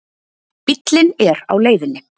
Bíllinn er á leiðinni.